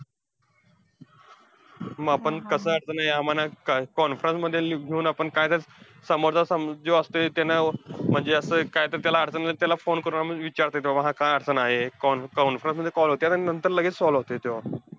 मग आपण कसं अडचण आहे काय अं conference मध्ये leave घेऊन, आपण काय ते समोरचा समो अं जो असतोय त्यानं म्हणजे असं काय तर त्याला अडचण आली, तर त्याला phone करून आम्हांला विचारता येतंय. कि बाबा हा काय अडचण आहे. con~ conference मध्ये call होत्यात. आणि लगेच solve होतंय.